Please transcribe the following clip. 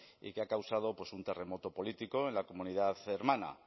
y que ha causado pues un terremoto político en la comunidad de hermana